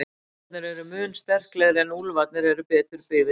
Hundarnir eru mun sterklegri en úlfarnir eru betur byggðir til hlaupa.